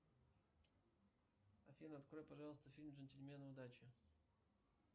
афина открой пожалуйста фильм джентльмены удачи